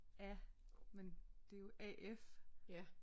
Af men det er jo A F